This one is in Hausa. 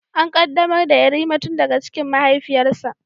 An qaddamar da Yarima tun daga cikin mahaifiyarsa